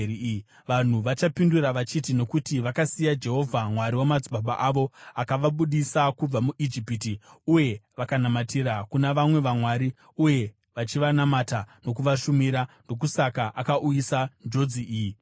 Vanhu vachapindura vachiti, ‘Nokuti vakasiya Jehovha Mwari wamadzibaba avo, akavabudisa kubva muIjipiti uye vakanamatira kuna vamwe vamwari uye vachivanamata nokuvashumira, ndokusaka akauyisa njodzi iyi pavari.’ ”